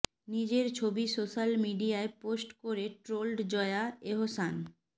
নিজের ছবি সোশ্যাল মিডিয়ায় পোস্ট করে ট্রোলড জয়া এহসান